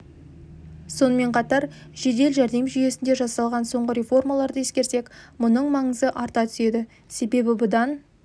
сонымен қатар жедел жәрдем жүйесінде жасалған соңғы реформаларды ескерсек мұның маңызы арта түседі себебі бұдан